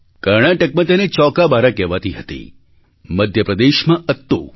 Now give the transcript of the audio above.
કર્ણાટકમાં તેને ચૌકાબારા કહેવાતી હતી મધ્ય પ્રદેશમાં અત્તુ